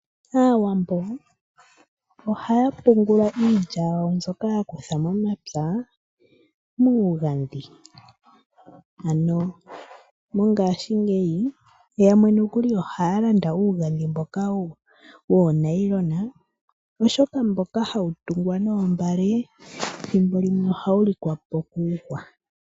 Aawambo ohaya pungula iilya yawo mbyoka ya kutha momapya muugandhi. Mongashingeyi yamwe nokuli ohaya landa uugandhi mboka woonayilona, oshoka mboka hawu tungwa noombale ethimbo limwe ohawu lika po kuuhwa.